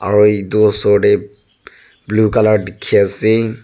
aru etu oshor teh blue colour bhuki na ase.